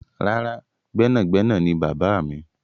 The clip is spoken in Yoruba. Rárá, gbẹ́nàgbẹnà ni bàbáà mi.